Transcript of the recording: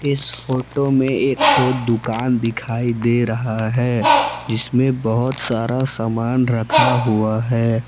इस फोटो में एक तो दुकान दिखाई दे रहा है जिसमें बहुत सारा सामान रखा हुआ है।